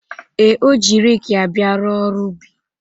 Ee, o ji reekị ya bịa rụọ ọrụ ubi.